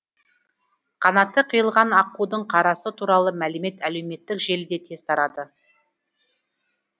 қанаты қиылған аққудың қарасы туралы мәлімет әлеуметтік желіде тез тарады